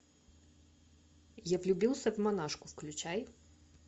я влюбился в монашку включай